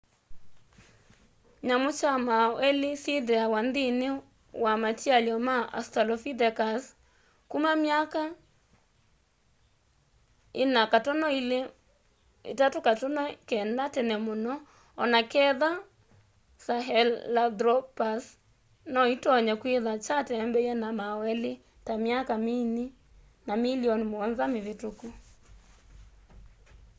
nyamu kya mauu eli syithiawa nthini wa matialyo ma australopithecus kuma miaka 4.2- 3.9 tene muno onaketha sahelanthropus no itonye kwitha kyatembei na mauu eli ta miaka mini na millioni muonza mivituku